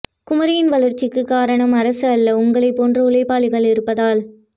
குமரியின் வளர்சிக்கு காரணம் அரசு அல்ல உங்களை போன்ற உழைப்பாளிகள் இருப்பதால்